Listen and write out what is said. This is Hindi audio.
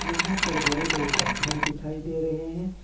यहां पर बड़े बड़े पत्थर दिखाई दे रहे हैं।